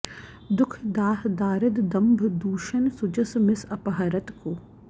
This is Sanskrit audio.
दुख दाह दारिद दंभ दूषन सुजस मिस अपहरत को